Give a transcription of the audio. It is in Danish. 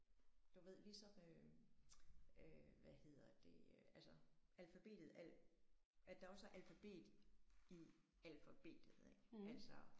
Du ved ligesom øh øh hvad hedder det altså alfabetet at at der også er alfabet i alfabetet ikke altså